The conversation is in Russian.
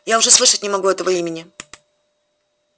я уже слышать не могу этого имени